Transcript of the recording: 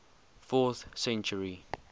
fourth century